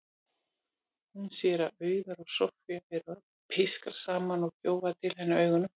Hún sér að Auður og Soffía eru að pískra saman og gjóa til hennar augunum.